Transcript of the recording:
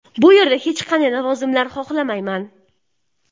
Bu yerda hech qanday lavozimlar xohlamayman.